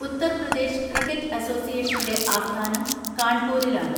Uttar Pradesh cricket അസോസിയേഷന്റെ ആസ്ഥാനം കാൺപൂരിലാണ്.